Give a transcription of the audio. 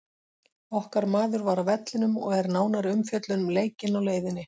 Okkar maður var á vellinum og er nánari umfjöllun um leikinn á leiðinni.